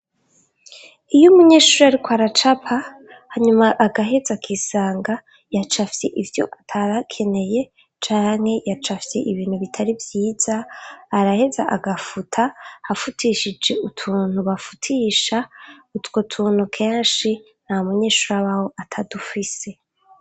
Iyo umunyeshuri ariko aracapa hanyuma agaheza akisanga yacafye ivyo atarakeneye canke yacafye ibintu bitari vyiza, araheza agafuta afutishije utuntu bafutisha, utwo tuntu kenshi nta munyeshuri abawo atadufise.